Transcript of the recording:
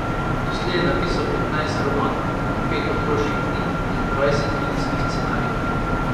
Doslej je napisal petnajst romanov, pet otroških knjig in dvajset filmskih scenarijev.